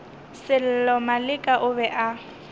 sello maleka o be a